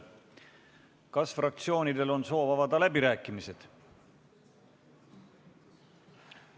Kas fraktsioonidel on soov avada läbirääkimised?